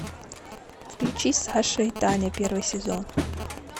включи саша и таня первый сезон